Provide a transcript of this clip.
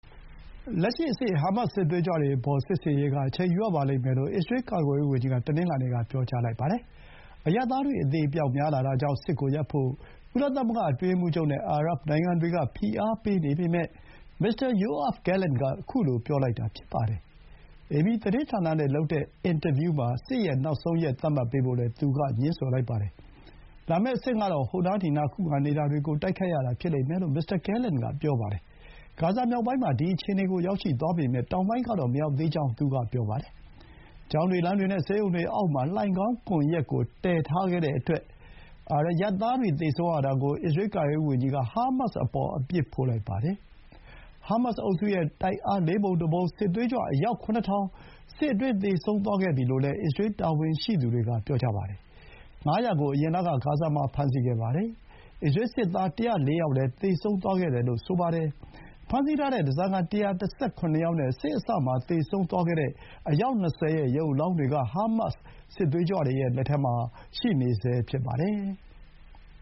လက်ရှိအဆင့် ဟားမတ်စ် စစ်သွေးကြွတွေအပေါ် စစ်ဆင်ရေးက အချိန်ယူရပါလိမ့်မယ်လို့ အစ္စရေးကာကွယ်ရေးဝန်ကြီးက တနင်္လာနေ့မှာ ပြောပါတယ်။ အရပ်သားတွေ အသေအပျောက်များလာတာကြောင့် စစ်ကိုရပ်ဖို့ ကုလသမဂ္ဂ အတွင်းရေးမှူးချုပ်နဲ့ အာရပ်နိုင်ငံတွေက ဖိအားတွေပေးနေပေမဲ့ မစ္စတာ ယိုအာဗ် ဂဲလင်န့် က ခုလို ပြောလိုက်တာဖြစ်ပါတယ်။ အေပီသတင်းဌာနနဲ့လုပ်တဲ့ အင်တာဗျူးမှာ စစ်ရဲ့နောက်ဆုံးရက် သတ်မှတ်ပေးဖို့လည်း သူက ငြင်းဆိုလိုက်ပါတယ်။ လာမယ့်အဆင့်ကတော့ ဟိုနားဒီနား ခုခံနေတာတွေကို တိုက်ခိုက်ရတာဖြစ်လိမ့်မယ်လို့ မစ္စတာ ဂဲလင့်န်ကပြောပါတယ်။ ဂါဇာမြောက်ပိုင်းမှာ ဒီ အခြေအနေကို ရောက်ရှိသွားပေမဲ့ တောင်ပိုင်းကတော့ မရောက်သေးကြောင်း ပြောပါတယ်။ ကျောင်းတွေ၊ လမ်းတွေနဲ့ ဆေးရုံတွေအောက်မှာ လှိုဏ်ခေါင်းကွန်ယက်ကိုတည်ထားခဲ့တဲ့အတွက် အရပ်သားတွေ သေဆုံးရတာကို အစ္စရေး ကာကွယ်ရေးဝန်ကြီးက ဟားမတ်စ်အပေါ် အပြစ်ဖို့လိုက်ပါတယ်။ ဟားမတ်စ်အုပ်စုရဲ့ တိုက်အားလေးပုံတစ်ပုံ စစ်သွေးကြွအယောက် ၇,၀၀၀ စစ်အတွင်း သေဆုံးသွားခဲ့ပြီလို့ အစ္စရေးတာဝန်ရှိသူတွေက ပြောပါတယ်။ ၅၀၀ ကို အရင်လက ဂါဇာမှာ ဖမ်းဆီးခဲ့ပါတယ်။ အစ္စရေး စစ်သား ၁၀၄ ယောက် သေဆုံးခဲ့တယ်လို့လည်း ဆိုပါတယ်။ ဖမ်းဆီးထားတဲ့ ဓားစာခံ ၁၁၇ ယောက်နဲ့ စစ်အစမှာ သေဆုံးသွားတဲ့အယောက် ၂၀ ရဲ့ ရုပ်အလောင်းတွေက ဟားမတ်စ် စစ်သွေးကြွတွေရဲ့ လက်ထဲမှာ ရှိနေဆဲဖြစ်ပါတယ်။